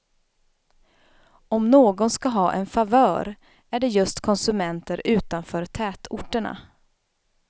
Om någon skall ha en favör är det just konsumenter utanför tätorterna.